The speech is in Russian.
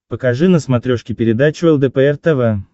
покажи на смотрешке передачу лдпр тв